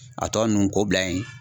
A tɔ ninnu kɔ bila yen